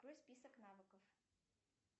открой список навыков